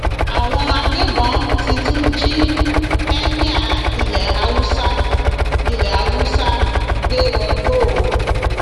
àwọn agbébọn ti tún jí ẹmíà ilẹ haúsá ilẹ haúsá gbé wọgbó o